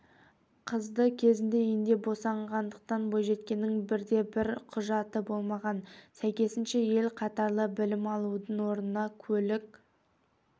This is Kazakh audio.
қызды кезінде үйінде босанғандықтан бойжеткеннің бірде-бір құжаты болмаған сәйкесінше ел қатарлы білім алудың орнына көлік